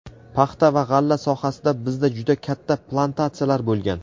paxta va g‘alla sohasida bizda juda katta plantatsiyalar bo‘lgan.